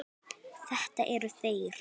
Þetta eru þeir.